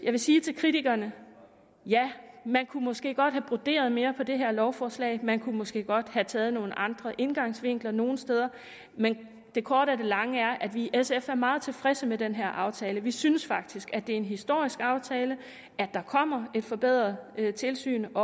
vil sige til kritikerne ja man kunne måske godt have broderet mere på det her lovforslag man kunne måske godt have taget nogle andre indgangsvinkler nogle steder men det korte af det lange er at vi i sf er meget tilfredse med den her aftale vi synes faktisk at det er en historisk aftale at der kommer et forbedret tilsyn